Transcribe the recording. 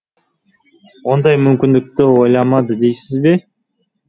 ондай мүмкіндікті ойламады дейсіз бе